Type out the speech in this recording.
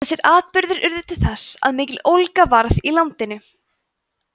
þessir atburðir urðu til þess að mikill ólga varð í landinu